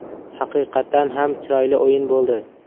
Haqiqatan ham chiroyli o‘yin bo‘ldi.